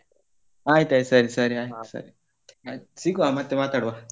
ಆಯ್ತಯ್ತ್ ಸರಿ ಸರಿ ಆಯ್ತ್ ಸರಿ ಸಿಗುವ ಮತ್ತೆ ಮಾತಾಡುವ.